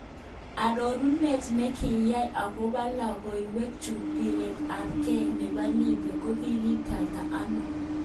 Arorunet nekaigai akobo logoiwek chu biret ab ge nebo Libya :Kikiititano yon?